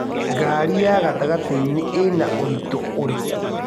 Ngari ya gatagatĩinĩ Ina ũritũ ũrikũ?